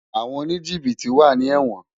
Awòn ónijibití wá ni èwòn